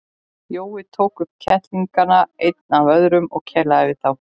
Jói tók upp kettlingana einn af öðrum og kelaði við þá.